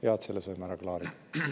Hea, et saime selle ära klaarida.